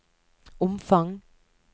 omfang